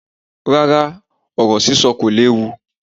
Rárá, ọ̀rọ̀ sísọ kò léwu.